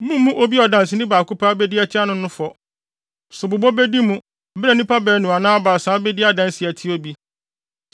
Mummmu obi a ɔdanseni baako pɛ abedi atia no no fɔ. Sobobɔ bedi mu, bere a nnipa baanu anaa baasa abedi adanse atia obi.